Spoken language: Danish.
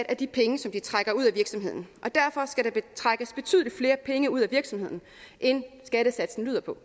af de penge som de trækker ud af virksomheden og derfor skal der trækkes betydeligt flere penge ud af virksomheden end skattesatsen lyder på